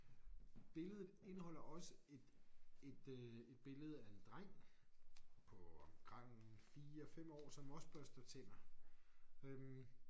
Billedet indeholder også et et øh et billede af en dreng på omkring 4 5 år som også børster tænder øh